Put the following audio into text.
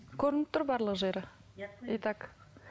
көрініп тұр барлық жері и так